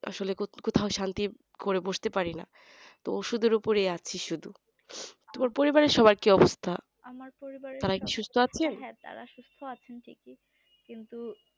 আসলে কোথাও শান্তি করে বুঝতে পারিনি ওষুধের উপরে আছে শুধু পরিবারের সবাইকে তারা কি সুস্থ আছে